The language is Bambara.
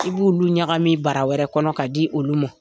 I b'olu ɲagami bara wɛrɛ kɔnɔ ka di olu ma.